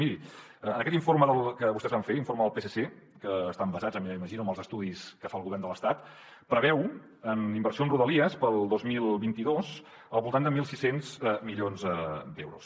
miri en aquest informe que vostès van fer l’informe del psc que estan basats m’imagino en els estudis que fa el govern de l’estat preveu en inversió en rodalies per al dos mil vint dos al voltant de mil sis cents milions d’euros